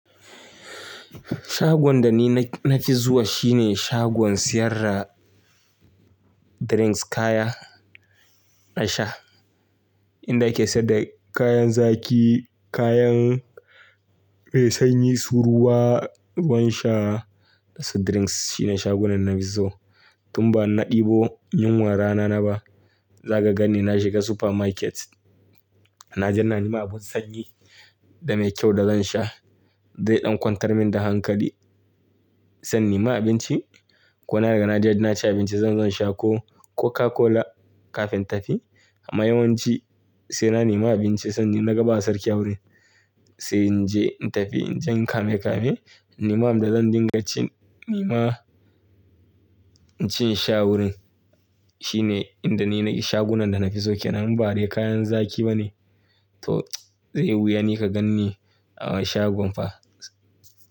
Shagon da ni na-na ki zuwa shi ne shagon siyarda drinks, kaya na sha. Inda ake sayar da kayan zaki, kayan, eh sanyi, su ruwa, ruwan sha da su drinks shine shagunan na fi so. Tun ba na ɗibo yunwa rana na ba, zaka gan ni na shiga supermarket. Naje na nema abun sanyi da mai kyau da zan sha. Zai ɗan kwantar min da hankali zan nema abinci. Ko na riga na je na ci abinci zan zo in sha coke, Coca-Cola kafin tafi. Amma yawanci sai na nema abinci sannan na gaba sarki a wurin sai in je in tafi, in je in kame-kame. Nema abin da zan dinga cin nema cin sha wurin. Shi ne inda ni nake shagunan da na fi so. Kenan badai kayan zaki ba ne? To zai wuya ni ka ganni a shagon fa.